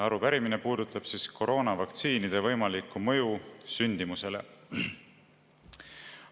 Arupärimine puudutab koroonavaktsiinide võimalikku mõju sündimusele.